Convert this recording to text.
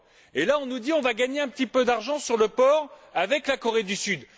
Or, on nous dit qu'on va gagner un petit peu d'argent sur le porc avec la Corée du Sud.